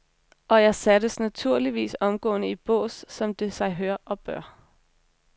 Og jeg sattes naturligvis omgående i bås, som det sig hør og bør.